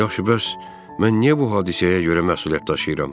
Yaxşı, bəs mən niyə bu hadisəyə görə məsuliyyət daşıyıram?